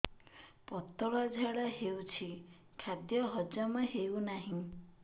ପତଳା ଝାଡା ହେଉଛି ଖାଦ୍ୟ ହଜମ ହେଉନାହିଁ